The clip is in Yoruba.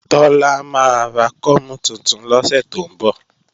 Tọ́lá máa ra kọ́mú tuntun lọ́sẹ̀ tó ń bọ̀